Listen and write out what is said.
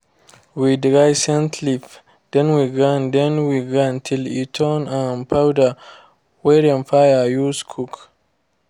we dry scent leaf then we grind then we grind till e turn um powder wey dem fir use cook